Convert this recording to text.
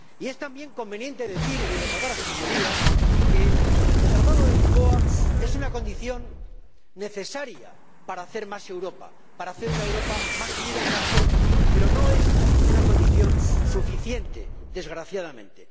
Y es también conveniente decir y recordar a Sus Señorías que el Tratado de Lisboa es una condición necesaria para hacer más Europa, para hacer una Europa más unida y más fuerte, pero no es una condición suficiente, desgraciadamente.